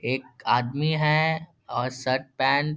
एक आदमी है और शर्ट पेंट --